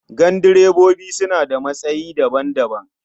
Gandirebobi suna da matsayi daban-daban.